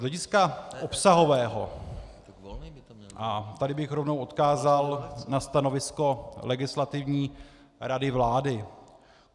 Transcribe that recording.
Z hlediska obsahového - a tady bych rovnou odkázal na stanovisko Legislativní rady vlády.